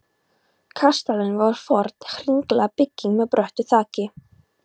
Kastalinn var forn hringlaga bygging með bröttu þaki.